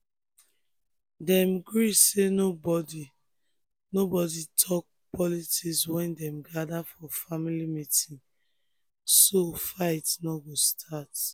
dem gree say make nobody nobody talk politics wen dem gather for family meeting so fight no go start.